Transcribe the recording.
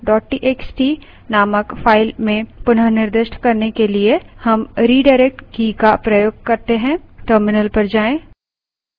output को concatefile txt नामक file में पुनः निर्दिष्ट करने के लिए हम redirect redirect की का प्रयोग कर सकते हैं